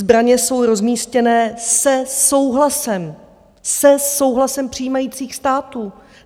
Zbraně jsou rozmístěné se souhlasem - se souhlasem! - přijímajících států.